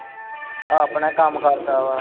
ਆਪਣਾ ਕੰਮ ਕਰਦਾ ਵਾ